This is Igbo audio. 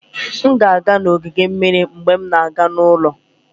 M ga-aga ogige mmiri mgbe m na-aga n'ụlọ